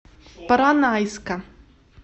поронайска